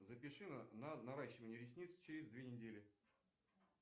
запиши на наращивание ресниц через две недели